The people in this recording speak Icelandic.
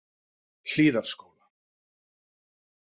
Hlíðarskóla